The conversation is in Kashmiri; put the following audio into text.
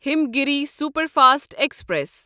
Himgiri superfast express